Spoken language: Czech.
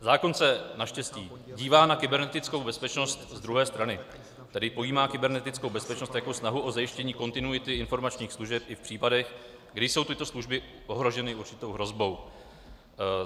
Zákon se naštěstí dívá na kybernetickou bezpečnost z druhé strany, tedy pojímá kybernetickou bezpečnost jako snahu o zajištění kontinuity informačních služeb i v případech, kdy jsou tyto služby ohroženy určitou hrozbou.